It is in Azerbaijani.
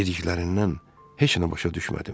Dediklərindən heç nə başa düşmədim.